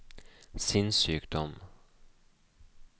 sinnssykdom